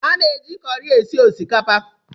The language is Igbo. A na-eji kọri esi osikapa